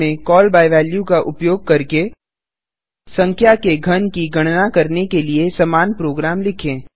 C में call by value का उपयोग करके संख्या के घन की गणना करने के लिए समान प्रोग्राम लिखें